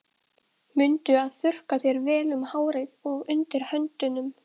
Mundu að þurrka þér vel um hárið og undir höndunum.